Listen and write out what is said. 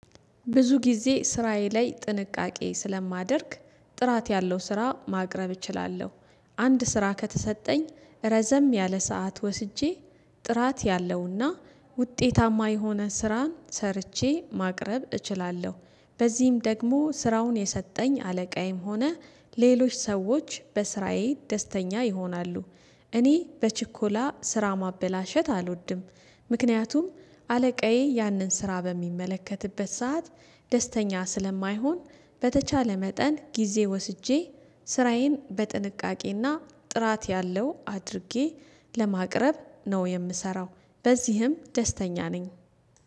ብዙ ጊዜ ስራዬ ላይ ጥንቃቄ ስለማደርግ ጥራት ያለው ስራ ማቅረብ እችላለሁ። አንድ ስራ ከተሰጠኝ ረዘም ያለ ሰዓት ወስጄ ጥራት ያለውና ውጤታማ የሆነ ስራን ሰርቼ ማቅረብ እችላለሁ። በዚህም ደግሞ ስራውን የሰጠኝ አለቃዬም ሆነ ሌሎች ሰዎች በስራዬ ደስተኛ ይሆናሉ። እኔ በችኮላ ስራ ማበላሸት አልወድም። ምክንያቱም አለቃዬ ያንን ስራ በሚመለከትበት ሰዓት ደስተኛ ስለማይሆን። በተቻለ መጠን ጊዜ ወስጄ ስራዬን በጥንቃቄና ጥራት ያለው አድርጌ ለማቅረብ ነው የምሰራው። በዚህም ደስተኛ ነኝ።